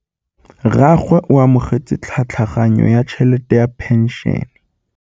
Rragwe o amogetse tlhatlhaganyô ya tšhelête ya phenšene.